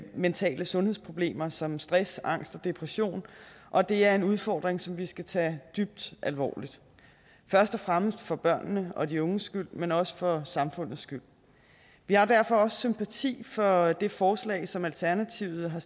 mentale sundhedsproblemer som stress angst og depression og det er en udfordring som vi skal tage dybt alvorligt først og fremmest for børnenes og de unges skyld men også for samfundets skyld vi har derfor også sympati for det forslag som alternativet har